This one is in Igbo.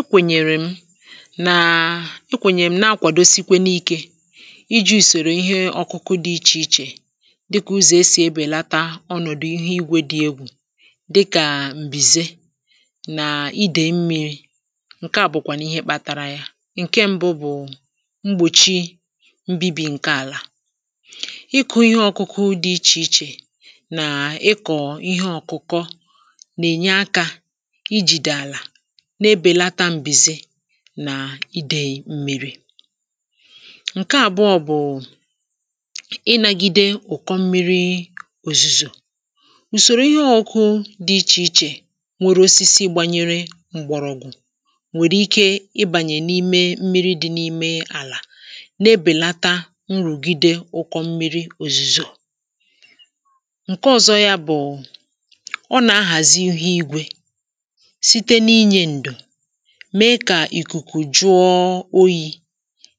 ekwènyèrè m naa ekwènyèrè m na-akwàdo sikwenuikė iji ùsòrò ihe ọkụkụ dị ichè ichè dịkà ụzọ̀ esì ebèlata ọnọ̀dụ ihe igwe dị egwù dịkà m̀bìze nà idè mmi̇ri̇ ǹke à bụ̀kwànụ̀ ihe kpȧtȧrȧ ya ǹke ṁbụ̇ bụ̀ mgbòchi mbibi ǹke àlà ịkụ̇ ihe ọkụkụ dị ichè ichè nà ịkọ̀ ihe ọ̀kụkọ nà-ènye akȧ ị jìdè àlà n’ebèlata m̀bèzi nà idèyì m̀mịrị ǹke àbụọ bụ̀ ị nȧgide ụ̀kọ m̀mịrị òzùzò ǹsòrò ihe ọ̇kụ̇ dị ichè ichè nwere osisi gbanyere m̀gbọ̀rọ̀gwụ̀ nwèrè ike ịbànyè n’ime m̀mịrị dị n’ime àlà n’ebèlata nrùgide ụkọ m̀mịrị òzùzò ǹke ọ̀zọ yȧ bụ̀ ọ nà-ahàzihi igwė mẹ kà ìkùkù jụọ oyì